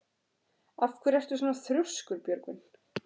Af hverju ertu svona þrjóskur, Björgvin?